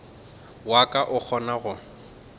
wa ka o kgonago go